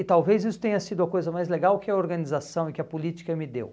E talvez isso tenha sido a coisa mais legal que a organização e que a política me deu.